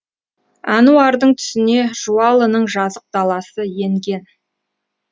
әнуардың түсіне жуалының жазық даласы енген